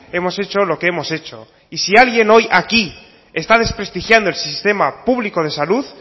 hemos hecho lo que hemos hecho y si alguien hoy aquí está desprestigiando el sistema público de salud